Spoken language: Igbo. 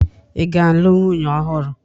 Ị ga-alụ nwunye ọhụrụ?